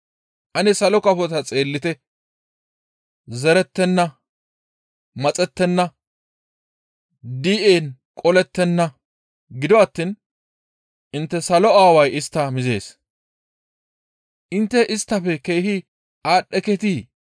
Ane salo kafota xeellite! Zerettenna; maxettenna; di7en qolettenna; gido attiin intte salo Aaway istta mizees. Intte isttafe keehi aadhdheketii?